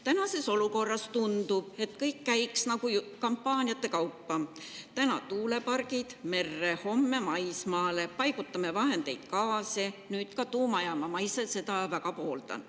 Praeguses olukorras tundub, et kõik käiks nagu kampaaniate kaupa: täna tuulepargid merre, homme maismaale, paigutame vahendeid, gaasi‑ ja nüüd ka tuumajaama – seda ma ise küll väga pooldan.